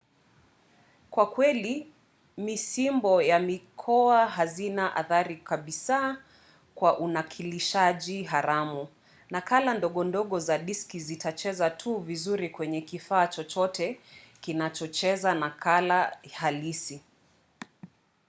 kwa kweli misimbo ya mikoa hazina athari kabisa kwa unakilishaji haramu; nakala ndogo ndogo za diski zitacheza tu vizuri kwenye kifaa chochote kinachocheza nakala halisi